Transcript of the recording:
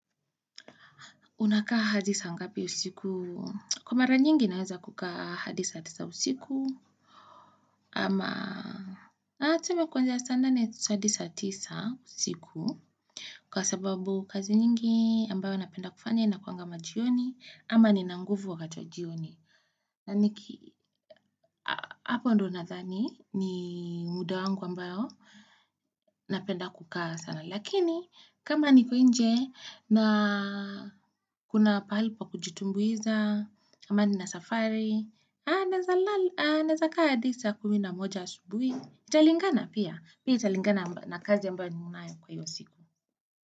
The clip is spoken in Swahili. Unakaa hadi saa ngapi usiku? Kwa mara nyingi naweza kukaa hadi saa tisa usiku, ama tuseme kuanzia saa nane hadi saa tisa usiku, kwa sababu kazi nyingi ambayo napenda kufanya inakuanga majioni, ama nina nguvu hata jioni. Na niki, hapo ndo nadhani ni muda wangu ambayo napenda kukaa sana, lakini kama niko inje na kuna pahali pa kujitumbuiza, ama nina safari naweza naweza kaa hadi saa kumi na moja asubuhi italingana pia, pia italingana na kazi ambayo ninayo hiyo siku.